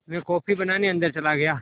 मैं कॉफ़ी बनाने अन्दर चला गया